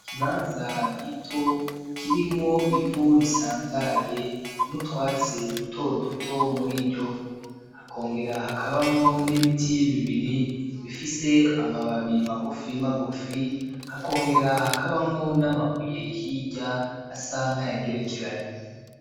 Ikibanza gito kirimwo ivu risanzaye n'utwatsi duto duto muriryovu hakongera hakabamwo n'ibiti bibiri bifise amababi magufi magufi, hakongera hakabamwo n'amabuye hirya asa nk'ayagerekeranye.